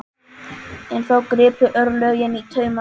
En þá gripu örlögin í taumana.